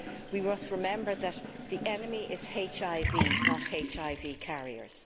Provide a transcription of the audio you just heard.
We must remember that the enemy is HIV, not HIV carriers.